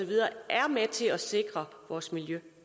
er med til at sikre vores miljø